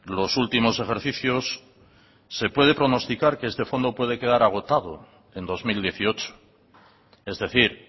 los últimos ejercicios se puede pronosticar que ese fondo puede quedar agotado en dos mil dieciocho es decir